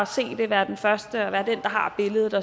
se det være den første og være den der har billedet